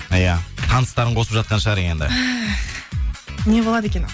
иә таныстарын қосып жатқан шығар енді не болады екен ал